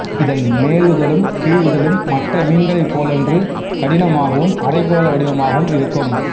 இதன் மேலுதடும் கீழுதடும் மற்ற மீன்களைப் போலன்றி கடினமாகவும் அரைக்கோள வடிவமாகவும் இருக்கும்